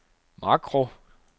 makro